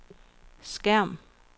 skærm